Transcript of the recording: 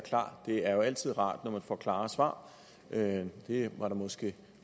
klar det er jo altid rart når man får klare svar det var der måske